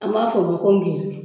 An b'a fɔ ma ko giriki